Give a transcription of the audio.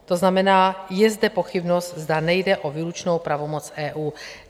To znamená, je zde pochybnost, zda nejde o výlučnou pravomoc EU.